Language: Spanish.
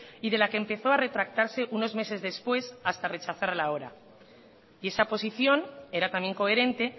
y de la que empezó a retractarse unos meses después hasta rechazarla ahora y esa posición era también coherente